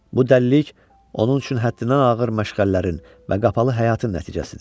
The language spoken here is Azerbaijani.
Bu dəlilik onun üçün həddindən ağır məşğələlərin və qapalı həyatın nəticəsidir.